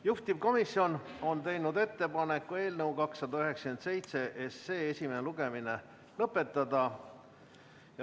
Juhtivkomisjon on teinud ettepaneku eelnõu 297 esimene lugemine lõpetada.